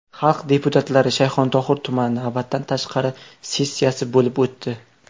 Xalq deputatlari Shayxontohur tumani navbatdan tashqari sessiyasi bo‘lib o‘tdi.